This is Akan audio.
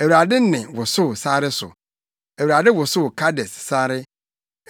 Awurade nne wosow sare so; Awurade wosow Kades sare.